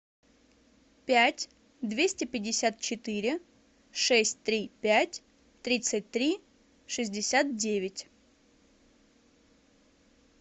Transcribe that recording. пять двести пятьдесят четыре шесть три пять тридцать три шестьдесят девять